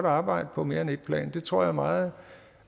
arbejde på mere end et plan det tror jeg er meget